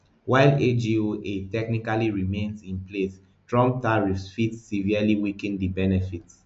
while agoa technically remain in place trump tariffs fit severely weaken di benefits